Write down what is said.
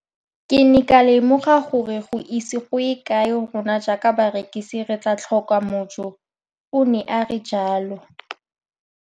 Ke ne ka lemoga gore go ise go ye kae rona jaaka barekise re tla tlhoka mojo, o ne a re jalo.